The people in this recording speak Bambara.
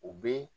U bɛ